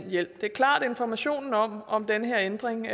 hjælp det er klart at informationen om om den her ændring